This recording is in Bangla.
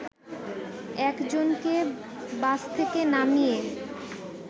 এক জনকে বাস থেকে নামিয়ে